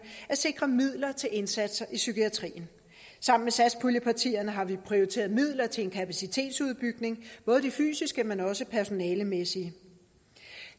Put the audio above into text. at sikre midler til indsatser i psykiatrien sammen med satspuljepartierne har vi prioriteret midler til en kapacitetsopbygning både i det fysiske men også personalemæssigt